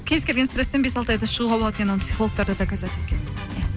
кез келген стресстен бес алты айда шығуға болады екен оны психологтар да доказать еткен